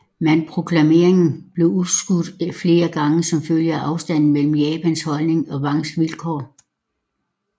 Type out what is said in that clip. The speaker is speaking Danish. Men proklameringen blev udskudt flere gange som følge af afstanden mellem Japans holdning og Wangs vilkår